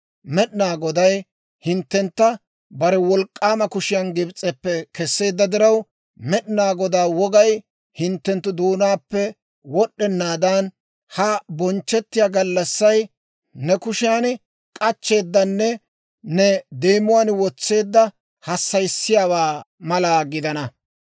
Med'inaa Goday hinttentta bare wolk'k'aama kushiyaan Gibs'eppe kesseedda diraw, Med'inaa Godaa wogay hinttenttu doonaappe wod'd'enaadan, ha bonchchettiyaa gallassay ne kushiyaan k'achcheeddanne ne deemuwaan wotseedda hassayissiyaawaa mala gidana.